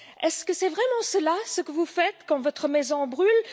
Est ce vraiment cela, ce que vous faites quand votre maison brûle?